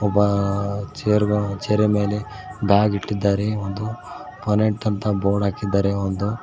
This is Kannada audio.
ಒಬ್ಬ ಚೇರ್ ಗ ಚೇರಿನ್ ಮೇಲೆ ಬ್ಯಾಗ್ ಇಟ್ಟಿದ್ದಾರೆ ಒಂದು ಪೋನೆಂಟ್ ಅಂತ ಬೋರ್ಡ್ ಹಾಕಿದ್ದಾರೆ ಒಂದು.